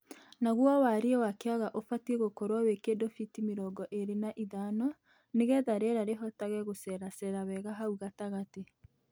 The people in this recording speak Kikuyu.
Naguo wariĩ wa kĩaga ubatiĩ gũkorwo wĩ kĩndũ biti mĩrongo ĩĩrĩ na ithano nĩgetha rĩera rĩhotage gũceracera wega hau gatagatĩ.